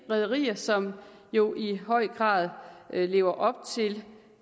rederier som jo i høj grad lever op til